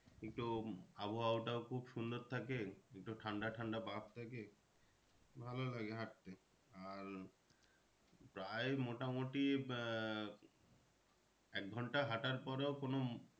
কিন্তু আবহাওয়াটাও খুব সুন্দর থাকে। একটু ঠান্ডা ঠান্ডা ভাব থাকে ভালো লাগে হাঁটতে আর প্রায় মোটামুটি আহ এক ঘন্টা হাঁটার পরেও কোনো